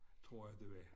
Tror jeg det var